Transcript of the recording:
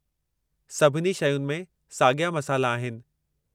सभिनी शयुनि में साॻिया मसाला आहिनि।